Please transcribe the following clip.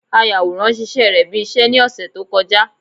Ayàwòrá ṣíṣe rẹ̀ bí iṣẹ́ ní ọ̀sẹ̀ tó kọjá